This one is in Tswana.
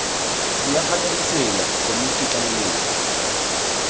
rulaganya ditsela rbbon komiti tlaleletso